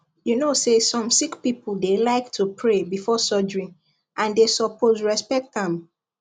you know say some sick people dey like to pray before surgery and they suppose respect am